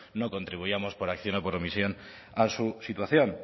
no contribuíamos por acción o por omisión a su situación